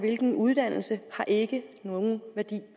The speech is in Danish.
hvilken uddannelse har ikke nogen værdi